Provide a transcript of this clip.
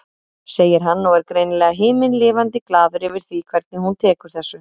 segir hann og er greinilega himinlifandi glaður yfir því hvernig hún tekur þessu.